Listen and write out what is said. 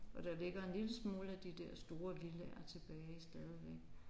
Og der ligger en lille smule af de der store villaer tilbage stadigvæk